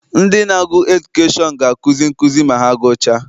Ndị na-agụ edukeshọn ga akuzi nkụzi ma ha gụchaa.